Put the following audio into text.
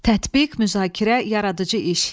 Tətbiq, müzakirə, yaradıcı iş.